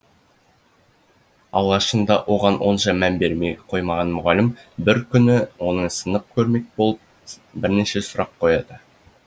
алғашында оған онша мән бере қоймаған мұғалім бір күні оны сынап көрмек болып бірнеше сұрақ қояды